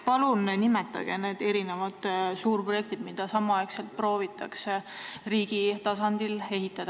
Palun nimetage need suurprojektid, mida samal ajal proovitakse riigi tasandil ehitada.